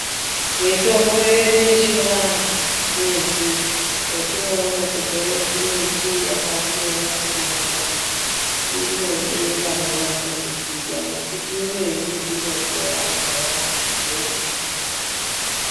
Mitombo yedu yechivanthu midzi yatione kubve kumiti yakasiyana siyana inode vanonase kuziya ngekuti imweni inokuwadza yaampho.